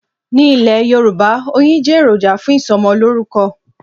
Ní Ilè yorùbá oyin jẹ́ ẹ̀ròjà fún ìsọmọ lorúkọ̀